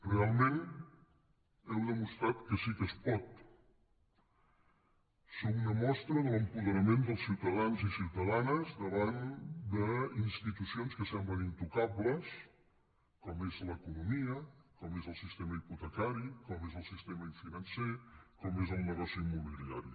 realment heu demostrat que sí que es pot sou una mostra de l’apoderament dels ciutadans i ciutadanes davant d’institucions que semblen intoca·bles com és l’economia com és el sistema hipotecari com és el sistema financer com és el negoci immobili·ari